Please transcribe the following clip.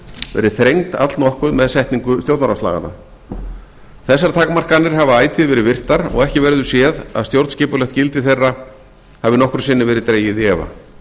verið þrengd allnokkuð með setningu stjórnarráðslaganna þessar takmarkanir hafa ætíð verið virtar og ekki verður séð að stjórnskipulegt gildi þeirra hafi nokkru sinni verið dregið í efa